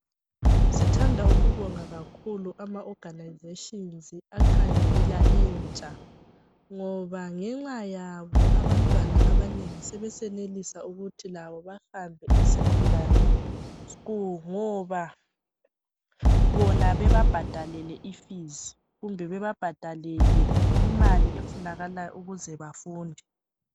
Sithanda ukubonga kakhulu ama organisations akhangela intsha ngoba ngenxa yabo abantwana abanengi sebeyenelisa ukuthi bahambe esecondary school ngoba bona bebabhadalele ifees kumbe bebabhadalele imali efunakalayo ukuze bafunde.